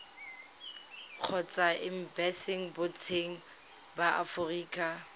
kgotsa embasing botseteng ba aforika